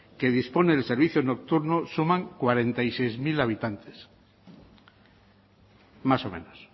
que disponen del servicio nocturno suman cuarenta y seis mil habitantes más o menos